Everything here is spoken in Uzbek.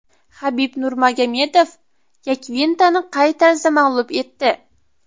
Xabib Nurmagomedov Yakvintani qay tarzda mag‘lub etdi?